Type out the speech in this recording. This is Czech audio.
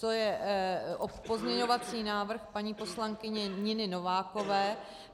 To je pozměňovací návrh paní poslankyně Niny Novákové.